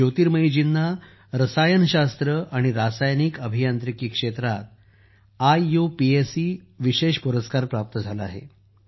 ज्योतिर्मयीजींना रसायनशास्त्र आणि रासायनिक अभियांत्रिकी क्षेत्रात आययुपॅक विशेष पुरस्कार प्राप्त झाला आहे